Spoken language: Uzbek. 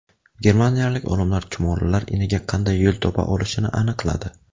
Germaniyalik olimlar chumolilar iniga qanday yo‘l topa olishini aniqladi.